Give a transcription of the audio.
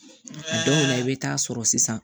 Dɔw la i bɛ taa sɔrɔ sisan